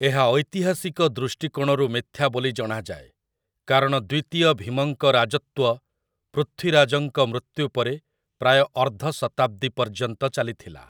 ଏହା ଐତିହାସିକ ଦୃଷ୍ଟିକୋଣରୁ ମିଥ୍ୟା ବୋଲି ଜଣାଯାଏ, କାରଣ ଦ୍ୱିତୀୟ ଭୀମଙ୍କ ରାଜତ୍ୱ ପୃଥ୍ୱୀରାଜଙ୍କ ମୃତ୍ୟୁ ପରେ ପ୍ରାୟ ଅର୍ଦ୍ଧଶତାବ୍ଦୀ ପର୍ଯ୍ୟନ୍ତ ଚାଲିଥିଲା ।